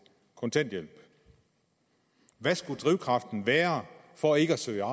kontanthjælp hvad skulle drivkraften være for ikke at søge